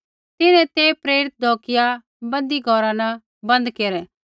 तिन्हैं ते प्रेरित ढौकिआ बन्दी घौरा न बन्द केरै